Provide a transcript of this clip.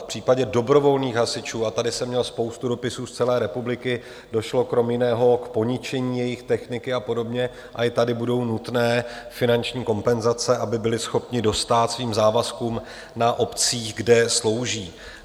V případě dobrovolných hasičů, a tady jsem měl spoustu dopisů z celé republiky, došlo kromě jiného k poničení jejich techniky a podobně, a i tady budou nutné finanční kompenzace, aby byli schopni dostát svým závazkům na obcích, kde slouží.